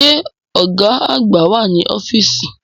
Ṣé Ọ̀gá àgbà wà ní ọ́fíìsì?